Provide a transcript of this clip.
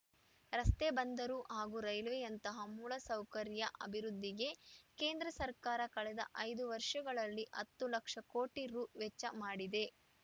ರಸ್ತೆ ಬಂದರು ಹಾಗೂ ರೈಲ್ವೆಯಂತಹ ಮೂಲಸೌಕರ್ಯ ಅಭಿವೃದ್ಧಿಗೆ ಕೇಂದ್ರ ಸರ್ಕಾರ ಕಳೆದ ಐದು ವರ್ಷಗಳಲ್ಲಿ ಹತ್ತು ಲಕ್ಷ ಕೋಟಿ ರು ವೆಚ್ಚ ಮಾಡಿದೆ